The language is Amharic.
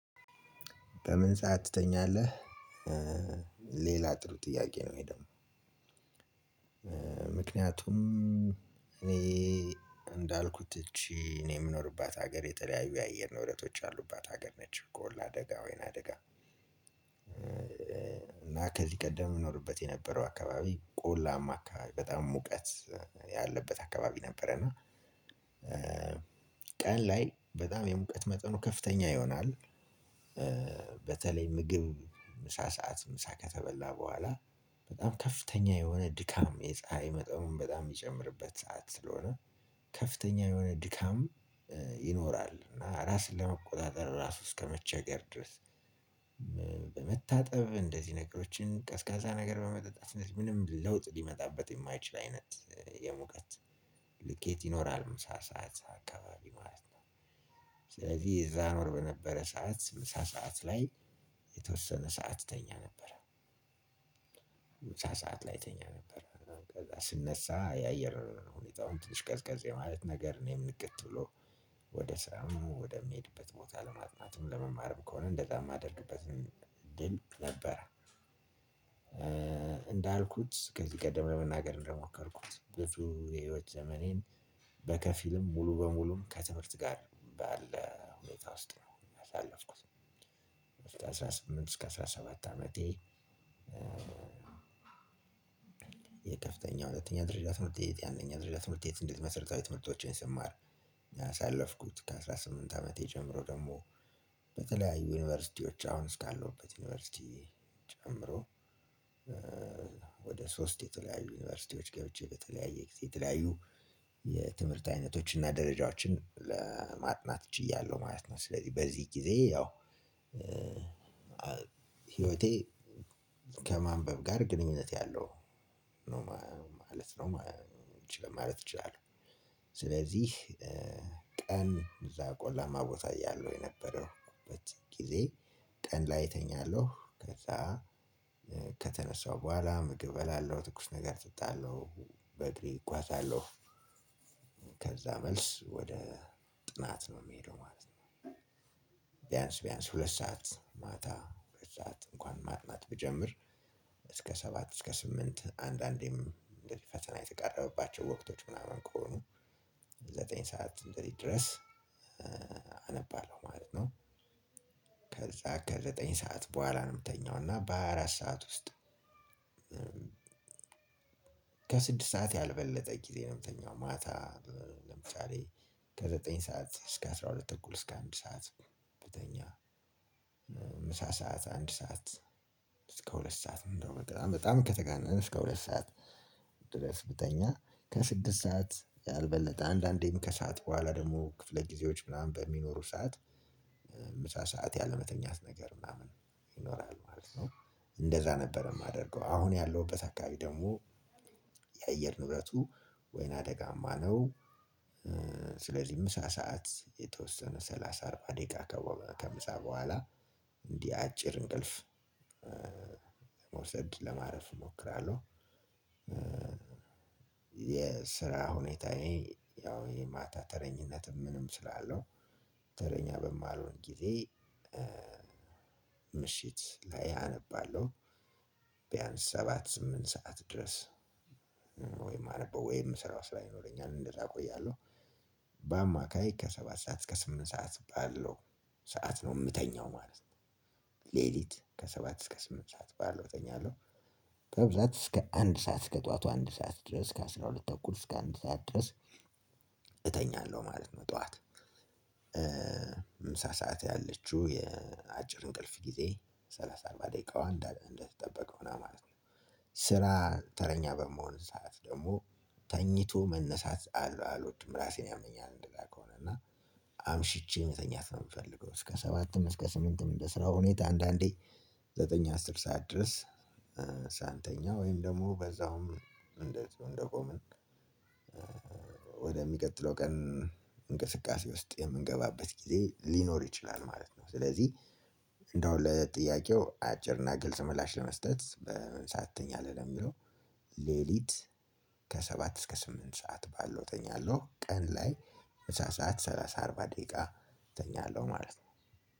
በምን ሰዓት ትተኛለህ? ሌላ ጥሩ ጥያቄ ነው ይሄ ደግሞ። ምክንያቱም እኔ እንዳልኩት እቺ እኔ የምኖርባት ሀገር የተለያዩ የአየር ንብረቶች ያሉባት ሀገር ነች ቆላ አደጋ ወይነ አደጋ። እና ከዚህ ቀደም እኖርበት የነበረው አካባቢ ቆላማ አካባቢ በጣም ሙቀት ያለበት አካባቢ ነበረ። እና ቀን ላይ በጣም የሙቀት መጠኑ ከፍተኛ ይሆናል። በተለይ ምግብ ምሳ ሰዓት ምሳ ከተበላ በኋላ በጣም ከፍተኛ የሆነ ድካም የፀሀይ መጠኑም በጣም የሚጨምርበት ስለሆነ ከፍተኛ የሆነ ድካም ይኖራል። እና ራስን ለመቆጣጠር ራሱ እስከመቸገር ድረስ በመታጠብ እንደዚህ ነገሮችን ቀዝቃዛ ነገር በመጠጣት ምንም ለውጥ ሊመጣበት የማይችል አይነት የሙቀት ልኬት ይኖራል ምሳ ሰዓት አካባቢ ማለት ነው። ስለዚህ እዛ እኖር በነበረ ሰዓት ምሳ ሰዓት ላይ የተወሰነ ሰዓት እተኛ ነበር። ምሳ ሰዓት ላይ እተኛ ነበር። ከዛ ስነሳ የአየር ሁኔታውም ትንሽ ቀዝቀዝ የማለት ነገር እኔም ንቅት ብሎ ወደ ስራም ወደምሄድበት ቦታ ለማጥናትም ለመማርም ከሆነ እንደዛ የማደርግበትም እድል ነበረ። እንዳልኩት ከዚህ ቀደም ለመናገር እንደሞከርኩት ብዙ የህይወት ዘመኔን በከፊልም ሙሉ በሙሉም ከትምህርት ጋር ባለ ሁኔታ ውስጥ ነው ያሳለፍኩት። ከሰላሳ ስምንት እስከ አስራ ሰባት አመቴ። የከፍተኛ የሁለተኛ ደረጃ ትምህርት ቤት የአንደኛ ደረጃ ትምህርት ቤት እንዴት መሰረታዊ ትምህርቶችን ስማር ያሳለፍኩት ከአስራ ስምንት አመቴ ጀምሮ በተለያዪ ወደ ሶስት የተለያዩ ዩንቨርስቲዎች ገብቼ በተለያዬ ጊዜ የተለያዩ የትምህርት ዓይነቶችና ደረጃዎችን ለማጥናት ችዬአለው ማለት ነው። ስለዚህ በዚህ ጊዜ ያው ህይወቴ ከማንበብ ጋር ግንኙነት ያለው ነው ማለት ነው። ማለት እችላለሁ። ስለዚህ ቀን እዛ ቆላማ ቦታ እያለሁ የነበረው በት ጊዜ። ቀን ላይ እተኛለሁ ከዛ ከተነሳው በኋላ ምግብ እበላለሁ ትኩስ ነገር እጠጣለሁ በእግሬ እጓዛለሁ። ከዛ መልስ ወደ ጥናት ነው የምሄደው ማለት ነው። ቢያንስ ቢያንስ ሁለት ሰዓት ማታ በሰአት እንኳን ማጥናት ብጀምር እስከ ሰባት እስከ ስምንት አንዳንዴም እንደዚህ ፈተና የተቃረበባቸው ወቅቶች ምናምን ከሆኑ ዘጠኝ ሰዓት እንደዚህ ድረስ አነባለሁ ማለት ነው። ከዛ ከዘጠኝ ሰዓት በኋላ ነው የምተኛው እና በሃያ አራት ሰዓት ውስጥ። ከስድስት ሰዓት ያልበለጠ ጊዜ ነው የምተኛው ማታ። ለምሳሌ ከዘጠኝ ሰዓት እስከ አስራ ሁለት ተኩል እስከ አንድ ሰዓት ብተኛ። ምሳ ሰዓት አንድ ሰዓት እስከ ሁለት ሰዓት እንደው በጣም በጣም ከተጋነነ እስከ ሁለት ሰዓት ድረስ ብተኛ ከስድስት ሰዓት ያልበለጠ አንዳንዴም ከሰአት በኋላ ደግሞ ክፍለ ጊዜዎች ምናምን በሚኖሩ ሰዓት ምሳ ሰዓት ያለመተኛት ነገር ምናምን ይኖራል ማለት ነው። እንደዛ ነበር የማደርገው አሁን ያለሁበት አካባቢ ደግሞ የአየር ንብረቱ ወይና አደጋማ ነው። ስለዚህ ምሳ ሰዓት የተወሰነ ስላሳ አርባ ደቂቃ ከምሳ በኋላ እንዲህ አጭር እንቅልፍ መውሰድ ለማረፍ እሞክራለሁ። የስራ ሁኔታዬ ያው የማታ ተረኝነትም ምንም ስላለው ተረኛ በማልሆን ጊዜ ምሽት ላይ አነባለሁ። ቢያንስ ሰባት ስምንት ሰዓት ድረስ ወይ የማነበው ወይ የምሰራው ስራ ይኖረኛል እንደዛ እቆያለሁ። በአማካይ ከሰባት ሰዓት እስከ ስምንት ሰዓት ባለው ሰዓት ነው የምተኛው ማለት ነው። ሌሊት ከሰባት እስከ ስምንት ሰዓት ባለው እተኛለሁ። በብዛት እስከ አንድ ሰዓት እስከ ጠዋቱ አንድ ሰዓት ድረስ ከአስራ ሁለት ተኩል እስከ አንድ ሰዓት ድረስ። እተኛለው ማለት ነው ጠዋት ሰዓት ያለችው የአጭር እንቅልፍ ጊዜ ሰላሳ አርባ ደቂቃዋን እንደተጠበቀው ነው ማለት ነው። ስራ ተረኛ በምሆን ሰዓት ደግሞ ተኝቶ መነሳት አልወድም ራሴን ያመኛል እንደዛ ከሆነ እና አምሽቼ መተኛት ነው የምፈልገው እስከ ሰባትም እስከ ስምንትም እንደ ስራው ሁኔታ አንዳንዴ ዘጠኝ አስር ሰዓት ድረስ። ሳንተኛ ወይም ደግሞ በዛውም እንዴት እንደቆምን ወደሚቀጥለው ቀን እንቅስቃሴ ውስጥ የምንገባበት ጊዜ ሊኖር ይችላል ማለት ነው። ስለዚህ እንደው ለጥያቄው አጭርና ግልጽ ምላሽ ለመስጠት ሰዓት ትተኛለህ ለሚለው ሌሊት ከሰባት እስከ ስምንት ሰዓት ባለው እተኛለሁ። ቀን ላይ ምሳ ሰዓት ስላሳ አርባ ደቂቃ እተኛለሁ ማለት ነው።